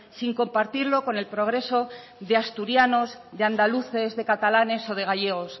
sin compartirlo con el progreso de asturianos de andaluces de catalanes o de gallegos